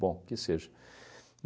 Bom, o que seja.